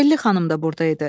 Telli xanım da burda idi.